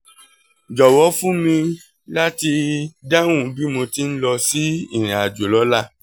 jọ̀wọ́ fún mi láti dáhùn bí mo ti ń lọ sí ìrìn àjò lọ́la